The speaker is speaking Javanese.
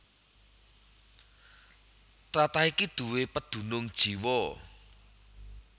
Tlatah iki duwé pedunung jiwa